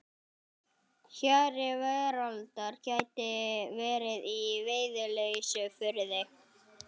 Hjari veraldar gæti verið í Veiðileysufirði.